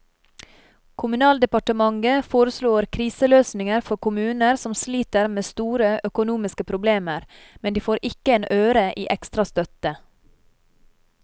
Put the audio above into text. Kommunaldepartementet foreslår kriseløsninger for kommuner som sliter med store økonomiske problemer, men de får ikke en øre i ekstra støtte.